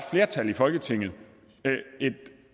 flertal i folketinget